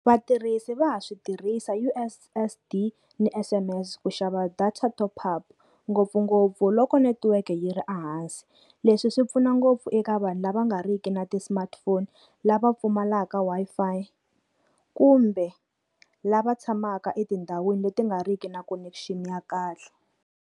Vatirhisi va ha swi tirhisa U_S_S_D ni S_M_S, ku xava data top-up ngopfungopfu loko netiweke yi ri ehansi. Leswi swi pfuna ngopfu eka vanhu lava nga riki na ti-smartphone lava pfumalaka Wi-Fi kumbe lava tshamaka etindhawini leti nga riki na connection ya kahle.